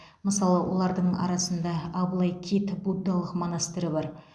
мысалы олардың арасында аблайкит буддалық монастыры бар